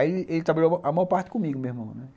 Aí ele trabalhou a maior parte comigo, meu irmão, né.